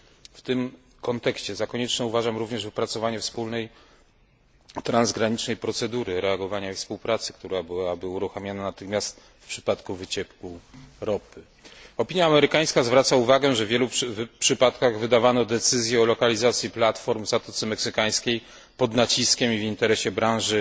W tym kontekście za konieczne uważam również wypracowanie wspólnej transgranicznej procedury reagowania i współpracy, która byłaby uruchamiana natychmiast w przypadku wycieku ropy. Opinia amerykańska zwraca uwagę, że w wielu przypadkach wydawano decyzje o lokalizacji platform w Zatoce Meksykańskiej pod naciskiem i w interesie branży